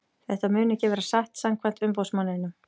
Þetta mun ekki vera satt samkvæmt umboðsmanninum.